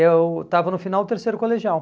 Eu estava no final do terceiro colegial.